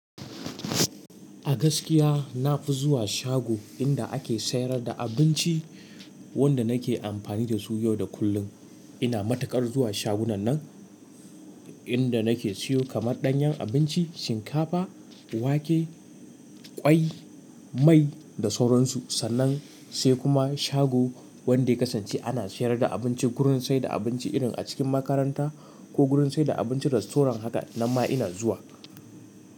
A gaskiya na fi zuwa shago inda ake sayar da abinci wanda nake amfani da su yau da kullum. Ina matukar zuwa shagunan nan inda nake siyo kamar ɗanyen abinci, shinkafa, wake, ƙwai, mai da sauran su. Sannan sai kuma shago wanda ya kasance ana sayar da abinci gurin saida abinci irin a cikin makaranta ko gurin saida abincin rastorant haka nan ma ina zuwa.